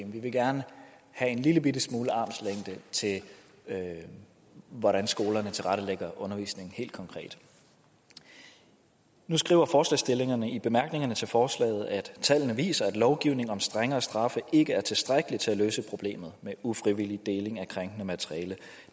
vi vil gerne have en lillebitte smule armslængde til hvordan skolerne tilrettelægger undervisningen helt konkret nu skriver forslagsstillerne i bemærkningerne til forslaget at tallene viser at lovgivning om strengere straffe ikke er tilstrækkeligt til at løse problemet med ufrivillig deling af krænkende materiale